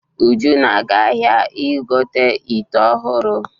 Uju na-aga ahia igote ìtè ọhụrụ.